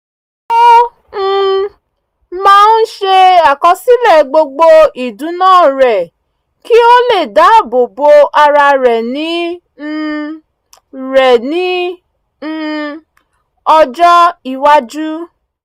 ó um máa ń ṣe àkọsílẹ̀ gbogbo ìdùná rẹ̀ kí ó lè dáàbò bo ara rẹ̀ ní um rẹ̀ ní um ọjọ́ iwájú